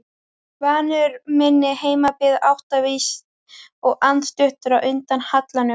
Vanur minni heimabyggð, áttaviss og andstuttur á undan hallanum.